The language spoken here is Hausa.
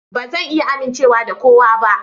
Ba zan iya amincewa da kowa ba.